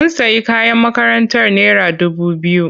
Mun sayi kayan makarantar naira dubu biyu.